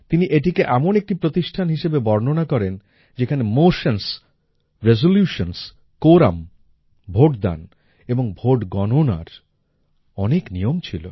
তিনি এটিকে এমন একটি প্রতিষ্ঠান হিসাবে বর্ণনা করেন যেখানে মোশনস রেজোলিউশনসহ কোরাম ভোটদান এবং ভোট গণনার অনেক নিয়ম ছিল